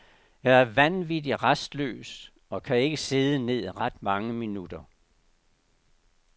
Jeg er vanvittig rastløs og kan ikke sidde ned ret mange minutter.